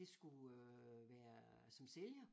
Det skulle øh være som sælger